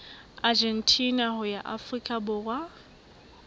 argentina ho ya afrika borwa